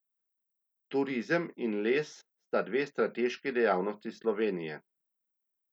Turizem in les sta dve strateški dejavnosti Slovenije.